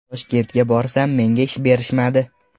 Toshkentga borsam menga ish berishmadi.